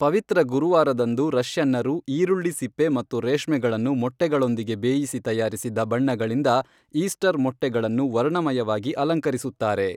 ಪವಿತ್ರ ಗುರುವಾರದಂದು ರಷ್ಯನ್ನರು ಈರುಳ್ಳಿ ಸಿಪ್ಪೆ ಮತ್ತು ರೇಷ್ಮೆಗಳನ್ನು ಮೊಟ್ಟೆಗಳೊಂದಿಗೆ ಬೇಯಿಸಿ ತಯಾರಿಸಿದ ಬಣ್ಣಗಳಿಂದ ಈಸ್ಟರ್ ಮೊಟ್ಟೆಗಳನ್ನು ವರ್ಣಮಯವಾಗಿ ಅಲಂಕರಿಸುತ್ತಾರೆ